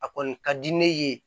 A kɔni ka di ne ye